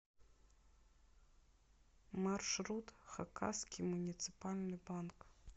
маршрут хакасский муниципальный банк